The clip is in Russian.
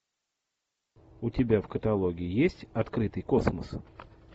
у тебя в каталоге есть открытый космос